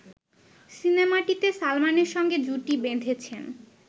সিনেমাটিতে সালমানের সঙ্গে জুটি বেঁধেছেন